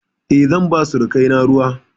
E, zan ba surukaina ruwa.